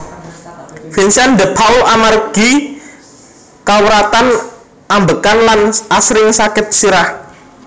Vincent de Paul amargi kawratan ambegan lan asring sakit sirah